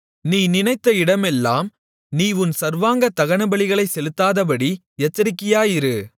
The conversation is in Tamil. நீ நினைத்த இடமெல்லாம் நீ உன் சர்வாங்க தகனபலிகளைச் செலுத்தாதபடி எச்சரிக்கையாயிரு